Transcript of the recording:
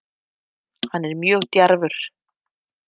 Hann er mjög djarfur